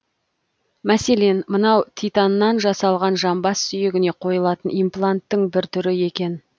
мәселен мынау титаннан жасалған жамбас сүйегіне қойылатын импланттың бір түрі екен